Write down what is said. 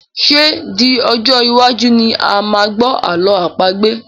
Ṣé di Ọjọ́ iwájú ni a máa gbọ́ ààlọ́ àpagbè?